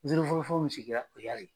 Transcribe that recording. fɔlɔfɔlɔ mun sigira KIDALI.